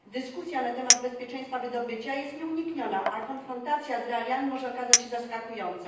Dyskusja na temat bezpieczeństwa wydobycia jest nieunikniona, a konfrontacja z realiami może okazać się zaskakująca.